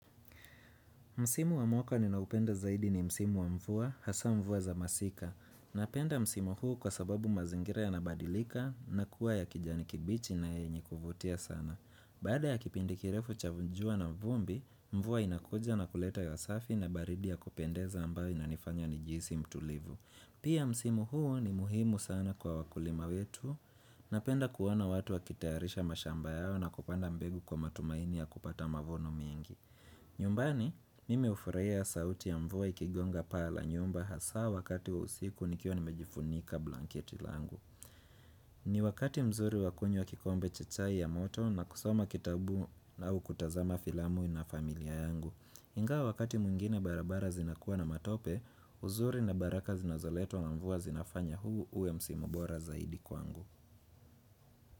Msimu wa mwaka ni naupenda zaidi ni Msimu wa mvua, hasa mvua za masika. Napenda Msimu huu kwa sababu mazingira ya nabadilika na kuwa ya kijani kibichi na yenye kuvutia sana. Baada ya kipindikirefu cha jua na vumbi, mvua inakuja na kuleta hewa safi na baridi ya kupendeza ambayo inanifanya ni jihisi mtulivu. Pia Msimu huu ni muhimu sana kwa wakulima wetu. Napenda kuona watu wakitayarisha mashamba yao na kupanda mbegu kwa matumaini ya kupata mavuno mengi. Nyumbani, mimi ufurahia sauti ya mvua ikigonga paa la nyumba hasa wakati wa usiku nikiwa nimejifunika blanketi langu ni wakati mzuri wakunywa kikombe cha chai ya moto na kusoma kitabu au kutazama filamu na familia yangu ingawa wakati mwingine barabara zinakuwa na matope, uzuri na baraka zinazoletwa na mvua zinafanya huu uwe msimu bora zaidi kwangu.